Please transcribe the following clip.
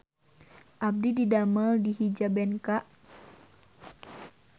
Abdi didamel di Hijabenka